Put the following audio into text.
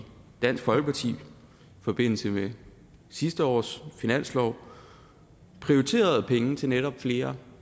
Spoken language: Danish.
dansk folkeparti i forbindelse med sidste års finanslov prioriteret penge til netop flere